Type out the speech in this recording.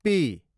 P